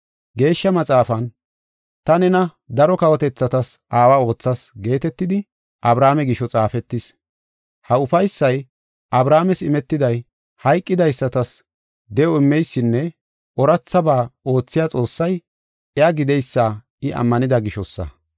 Geeshsha Maxaafan, “Ta nena daro kawotethatas aawa oothas” geetetidi Abrahaame gisho, xaafetis. Ha ufaysay Abrahaames imetiday hayqidaysatas de7o immeysinne oorathaba oothiya Xoossay iya gideysa I ammanida gishosa.